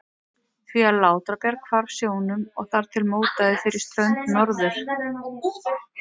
því að Látrabjarg hvarf sjónum og þar til mótaði fyrir strönd Norður-